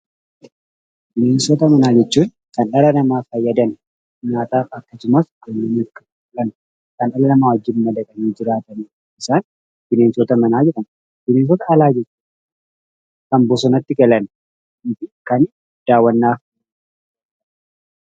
Bineensota manaa jechuun kan dhala namaa fayyadan, nyaataaf akkasumas kan dhala namaa wajjin madaqanii jiraatanidha. Isaan bineensota manaa jedhamu. Bineensota alaa jechuun kan bosonatti galan fi kan daawwannaaf oolanidha.